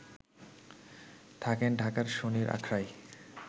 থাকেন ঢাকার শনির আখড়ায়